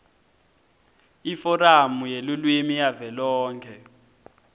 iforamu yelulwimi yavelonkhe